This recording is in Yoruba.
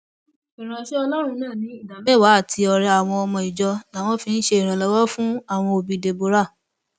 ìránṣẹ ọlọrun náà ní ìdámẹwàá àti ọrẹ àwọn ọmọ ìjọ làwọn fi ṣe ìrànlọwọ fún àwọn òbí deborah